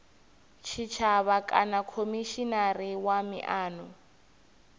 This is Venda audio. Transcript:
tshitshavha kana khomishinari wa miano